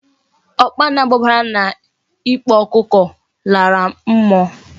Okpana gbabara na n' ikpo okuko lara mmuo